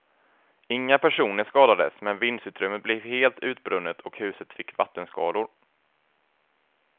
Inga personer skadades men vindsutrymmet blev helt utbrunnet och huset fick vattenskador.